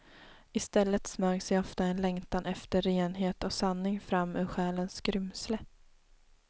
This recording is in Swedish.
Istället smög sig ofta en längtan efter renhet och sanning fram ur själens skrymsle.